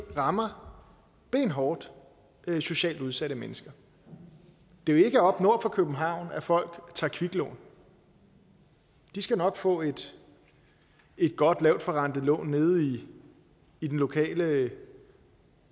rammer benhårdt socialt udsatte mennesker det er jo ikke oppe nord for københavn folk tager kviklån de skal nok få et godt lavtforrentet lån nede i den lokale